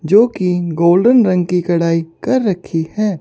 जो की गोल्डन रंग की कढ़ाई कर रखी है।